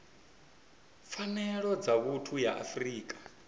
pfanelo dza vhuthu ya afrika